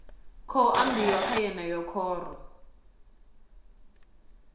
khou ambiwa kha yeneyi khoro